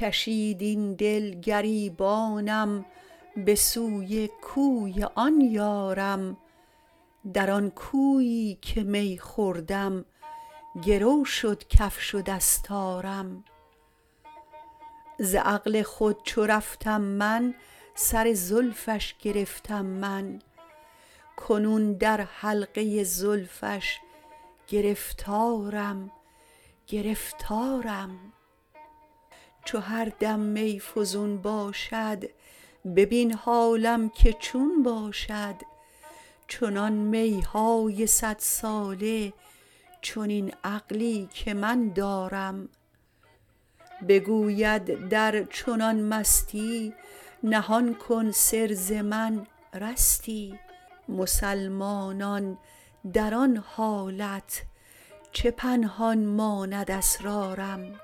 کشید این دل گریبانم به سوی کوی آن یارم در آن کویی که می خوردم گرو شد کفش و دستارم ز عقل خود چو رفتم من سر زلفش گرفتم من کنون در حلقه زلفش گرفتارم گرفتارم چو هر دم می فزون باشد ببین حالم که چون باشد چنان می های صدساله چنین عقلی که من دارم بگوید در چنان مستی نهان کن سر ز من رستی مسلمانان در آن حالت چه پنهان ماند اسرارم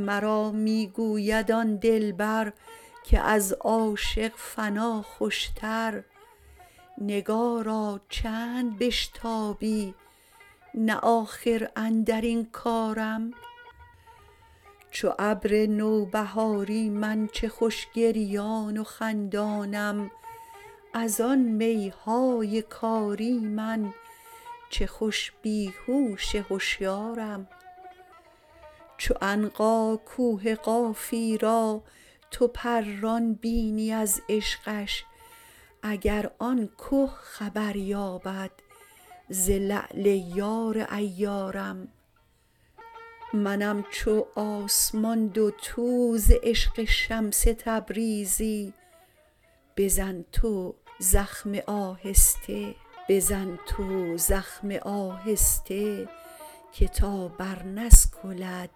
مرا می گوید آن دلبر که از عاشق فنا خوشتر نگارا چند بشتابی نه آخر اندر این کارم چو ابر نوبهاری من چه خوش گریان و خندانم از آن می های کاری من چه خوش بی هوش هشیارم چو عنقا کوه قافی را تو پران بینی از عشقش اگر آن که خبر یابد ز لعل یار عیارم منم چو آسمان دوتو ز عشق شمس تبریزی بزن تو زخمه آهسته که تا برنسکلد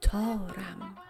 تارم